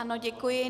Ano, děkuji.